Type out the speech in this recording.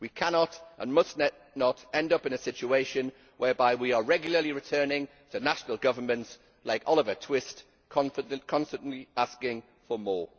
We cannot and must not end up in a situation whereby we are regularly returning to national governments, like Oliver Twist constantly asking for more.